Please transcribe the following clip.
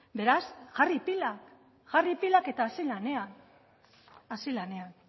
beraz jarri pilak jarri pilak eta hasi lanean hasi lanean